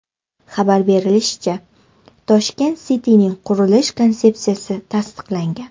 Xabar berishlaricha, Tashkent City’ning qurilish konsepsiyasi tasdiqlangan.